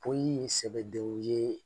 Poyi ye sɛbɛdenw ye